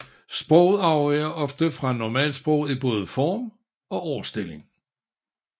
Sproget afviger ofte fra normalsproget i både form og ordstilling